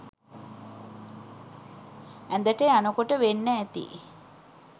ඇඳට යනකොට වෙන්න ඇති